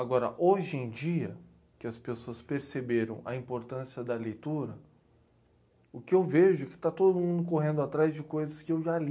Agora, hoje em dia, que as pessoas perceberam a importância da leitura, o que eu vejo é que está todo mundo correndo atrás de coisas que eu já li.